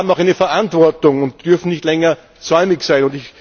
Das heißt, wir haben auch eine Verantwortung und dürfen nicht länger säumig sein.